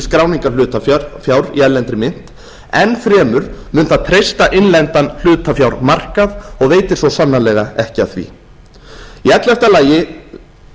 skráningar hlutafjár í erlendri mynt enn fremur mun það treysta innlendan hlutafjármarkað og veitir svo sannarlega ekki af því í ellefta lagi